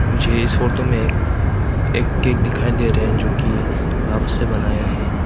मुझे इस फोटो में एक एक केक दिखाई दे रहे है जो की से बनाया है।